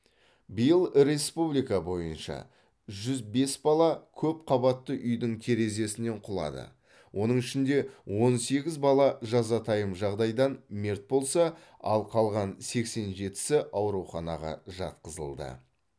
биыл республика бойынша жүз бес бала көпқабатты үйдің терезесінен құлады оның ішінде он сегіз бала жазатайым жағдайдан мерт болса ал қалған сексен жетісі ауруханаға жатқызылды